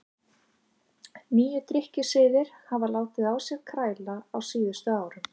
Nýir drykkjusiðir hafa látið á sér kræla á síðustu árum.